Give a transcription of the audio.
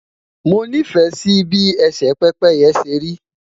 mo ni fẹ Si bi ese pépéye seri